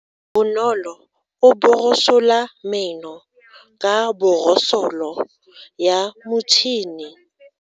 Bonolo o borosola meno ka borosolo ya motšhine.